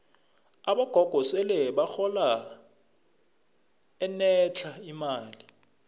abogogo sele bahola enetlha imali